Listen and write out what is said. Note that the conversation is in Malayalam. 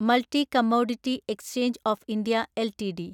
multi commodity exchange of India LTD